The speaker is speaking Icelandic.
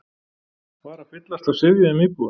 var að fyllast af syfjuðum íbúum.